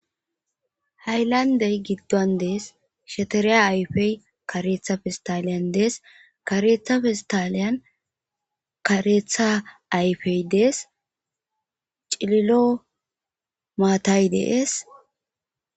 haylandey giddon dees shetereya ayfey kareetha fistaliyan dees karetha fistaliyan kareetha ayfey dees cililo maatay deees